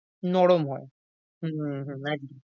নরম হয়। হম হু একদম।